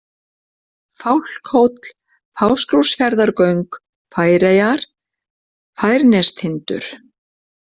Fálkhóll, Fáskrúðsfjarðargöng, Færeyjar, Færnestindur